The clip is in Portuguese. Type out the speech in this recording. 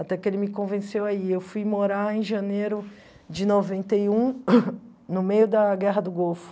Até que ele me convenceu aí, eu fui morar em janeiro de noventa e um, no meio da Guerra do Golfo.